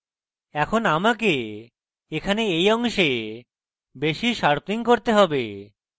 এখন আমাকে এখানে এই অংশে বেশী sharpening করতে have